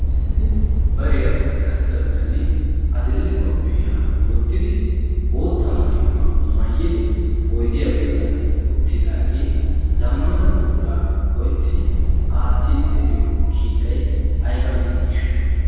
Issi bariyaan gastta bittanne adil"e koppiyaa wottiddi bootta maayuwaa mayiddi oydiyaa bollaani uttiddaage zammana buqqura go"ettidi aattidi de'iyoo kiittay aybba milattshsha?